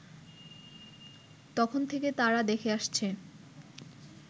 তখন থেকে তারা দেখে আসছে